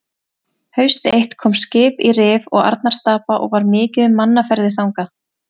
Haust eitt kom skip í Rif og Arnarstapa og var mikið um mannaferðir þangað.